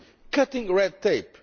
skills cutting red